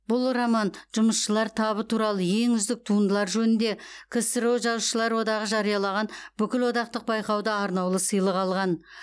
бұл роман жұмысшылар табы туралы ең үздік туындылар жөнінде ксро жазушылар одағы жариялаған бүкілодақтық байқауда арнаулы сыйлық алған